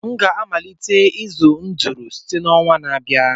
m ga-amalite ịzụ ndụrụ site n'ọnwa na-abịa